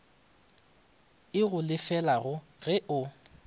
e go lefelago ge o